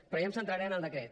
però jo em centraré en el decret